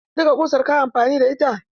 Duka ƙusar ka yi amfani da?